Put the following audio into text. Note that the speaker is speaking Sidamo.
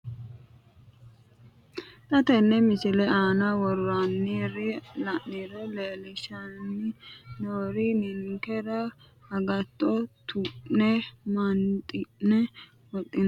Xa tenne missile aana worroonniri la'niro leellishshanni noori ninkera agatto tu'ne maanxi'ne wodhinannita hincilaallaamu uduunninni loonsoonnita babbaxxino kuulinni loonse babbaxxitino borro borreessinoonni gujuujje leellishshanno.